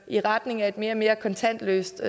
i retning af et mere og mere kontantløst